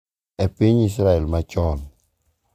E piny Israel machon.